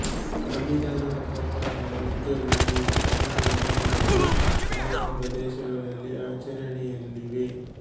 ಸಂವಿಧಾನದ ಪ್ರಕಾರ ಈಗಲೂ ಈ ಅಧಿನಿಯಮಗಳು ಆಯಾ ಪ್ರದೇಶಗಳಲ್ಲಿ ಆಚರಣೆಯಲ್ಲಿವೆ